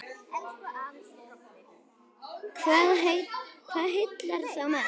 Hvað heillar þá mest?